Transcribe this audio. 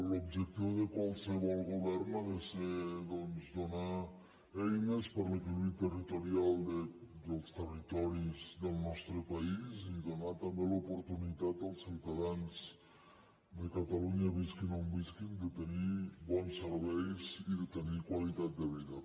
l’objectiu de qualsevol govern ha de ser doncs donar eines per a l’equilibri territorial dels territoris del nostre país i donar també l’oportunitat als ciutadans de catalunya visquin on visquin de tenir bons serveis i de tenir qualitat de vida